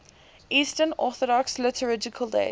eastern orthodox liturgical days